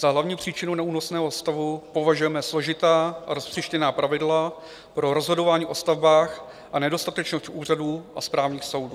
Za hlavní příčinu neúnosného stavu považujeme složitá a roztříštěná pravidla pro rozhodování o stavbách a nedostatečnost úřadů a správních soudů.